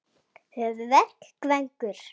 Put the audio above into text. Hvernig gengur?